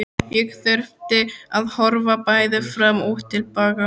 Ég þurfti að horfa bæði fram og til baka.